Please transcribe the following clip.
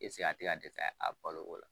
a ti ka se ka dɛsɛ a balo kɔrɔ ?